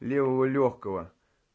левого лёгкого